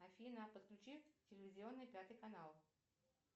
афина подключи телевизионный пятый канал